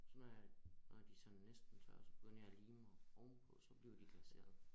Så når jeg når de næsten tørre så begynder jeg at lime ovenpå så bliver de glaseret